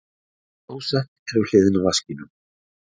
Klósettið við hliðina á vaskinum.